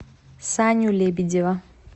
саню лебедева